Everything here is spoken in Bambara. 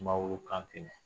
Sumaworo Kante